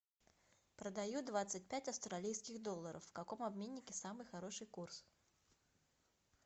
продаю двадцать пять австралийских долларов в каком обменнике самый хороший курс